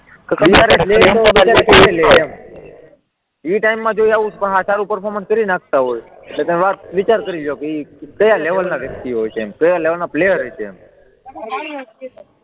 એ ટાઇમમાં આવું સારું પર્ફોર્મન્સ કરી નાખતા હોય તો તમે વિચાર કરી લો કે એ કયા લેવલ ના વ્યક્તિ હોય, ક્યાં લેવાલના પ્લેયર હશે એમ